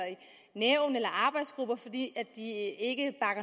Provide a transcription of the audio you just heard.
arbejdsgrupper fordi de ikke